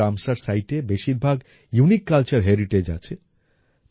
world Ramsar সিতে এ বেশীরভাগ ইউনিক কালচার হেরিটেজ আছে